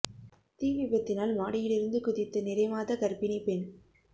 தீ விபத்தினால் மாடியில் இருந்து குதித்த நிறைமாத கர்ப்பிணி பெண்